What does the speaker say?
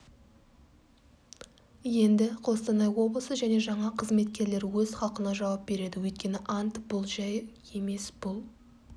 енді қостанай облысы және жаңа қызметкерлері өз халқына жауап береді өйткені ант бұл жай емес бұл